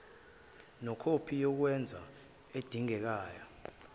nekhophi yokwengeza edingeka